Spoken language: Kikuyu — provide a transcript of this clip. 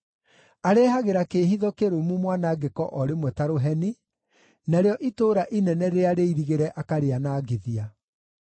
areehagĩra kĩĩhitho kĩrũmu mwanangĩko o rĩmwe ta rũheni, narĩo itũũra inene rĩrĩa rĩirigĩre akarĩanangithia),